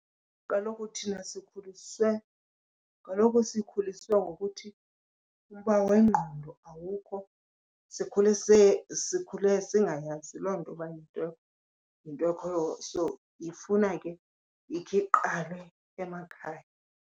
Kaloku thina sikhuliswe, kaloku sikhuliswe ngokuthi umba wengqondo awukho. Sikhule , sikhule singayazi loo nto uba yinto ekhoyo so ifuna ke ikhe iqalwe emakhaya.